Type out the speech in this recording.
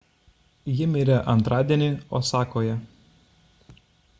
ji mirė antradienį osakoje